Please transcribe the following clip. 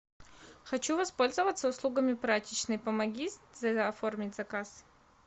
хочу воспользоваться услугами прачечной помоги оформить заказ